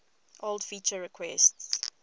old feature requests